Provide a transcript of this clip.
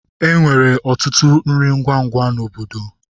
Enwere ọtụtụ nri ngwa ngwa na obodo.